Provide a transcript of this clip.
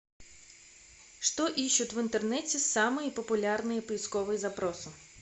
что ищут в интернете самые популярные поисковые запросы